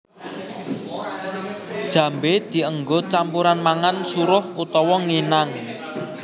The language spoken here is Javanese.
Jambé dienggo campuran mangan suruh utawa nginang